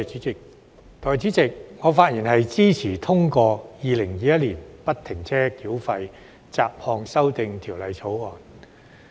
代理主席，我發言支持通過《2021年不停車繳費條例草案》。